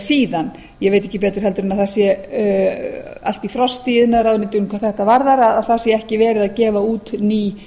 síðan ég veit ekki betur en það sá allt í frosti í iðnaðarráðuneytinu hvað þetta varðar að það sé ekki verið að gefa út ný